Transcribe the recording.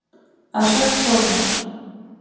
Að sögn Þórunnar